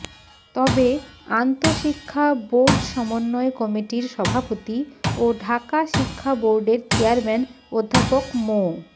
তবে আন্তশিক্ষা বোর্ড সমন্বয় কমিটির সভাপতি ও ঢাকা শিক্ষা বোর্ডের চেয়ারম্যান অধ্যাপক মো